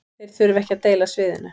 Þeir þurfa ekki að deila sviðinu